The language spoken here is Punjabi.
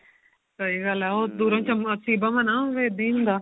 ਸਹੀ ਗੱਲ ਏ ਉਹ ਦੂਰੋਈ ਸਭਾਸੀ ਭਵਨ ਆ ਉਹ ਇੱਦਾਂ ਹੀ ਹੁੰਦਾ